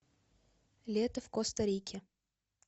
лето в коста рике